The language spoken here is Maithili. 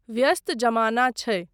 व्यस्त जमाना छै।